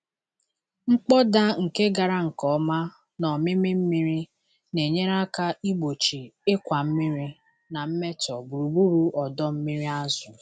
Mkpọda nke gara nke ọma na ómímí mmiri na-enyere aka igbochi ịkwa mmiri na mmetọ gburugburu ọdọ mmiri azụ̀.